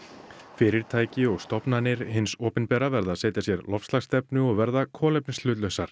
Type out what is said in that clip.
fyrirtæki og stofnanir hins opinbera verða að setja sér loftslagsstefnu og verða